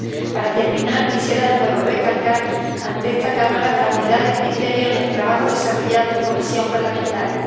Para terminar, quisiera de nuevo recalcar ante esta Cámara la unidad de criterio en el trabajo desarrollado en comisión parlamentaria.